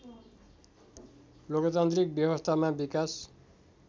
लोकतान्त्रिक व्यवस्थामा विकास